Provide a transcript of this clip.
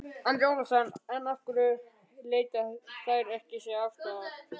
Andri Ólafsson: En af hverju leita þær sér ekki aðstoðar?